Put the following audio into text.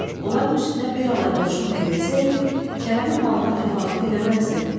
Onların üstünə bir alay qoşun da yerisəydi, Kərəmin halına təfavüt eləməzdi.